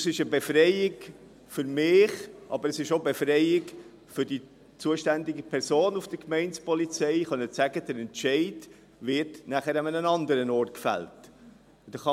Es ist eine Befreiung für mich, aber auch eine Befreiung für die zuständige Person bei der Gemeindepolizei, sagen zu können, dass der Entscheid nachher an einem anderen Ort gefällt wird.